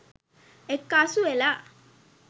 එක්කාසු වෙලා.